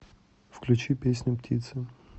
включи песню птицы